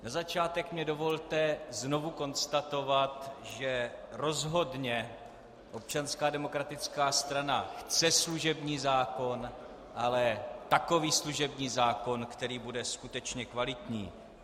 Na začátek mi dovolte znovu konstatovat, že rozhodně Občanská demokratická strana chce služební zákon, ale takový služební zákon, který bude skutečně kvalitní.